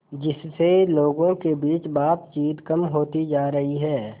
जिससे लोगों के बीच बातचीत कम होती जा रही है